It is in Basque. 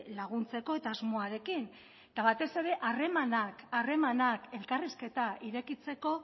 laguntzeko asmoarekin eta batez ere harremanak elkarrizketa irekitzeko